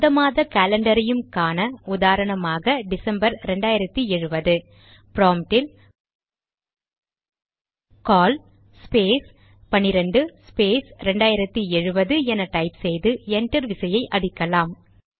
எந்த மாத காலண்டரையும் காண உதாரணமாக டிசம்பர் 2070 ப்ராம்ட்டில் கால் ஸ்பேஸ் 12 ஸ்பேஸ் 2070 என டைப் செய்து என்டர் விசையை அடிக்கலாம்